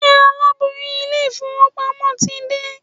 Ṣé alábòójútó ilé-ìfowópamọ́ ti dé?